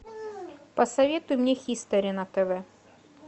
посоветуй мне хистори на тв